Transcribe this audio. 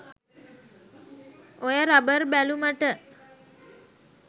ඔය රබර් බැලුමට